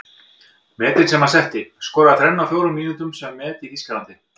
Metin sem hann setti:- Skoraði þrennu á fjórum mínútum sem er met í Þýskalandi.